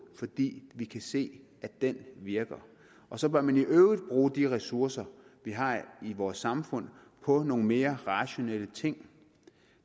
fordi vi kan se at den virker og så bør man i øvrigt bruge de ressourcer vi har i vores samfund på nogle mere rationelle ting